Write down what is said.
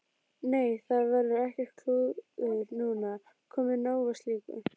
Nei, það verður ekkert klúður núna, komið nóg af slíku.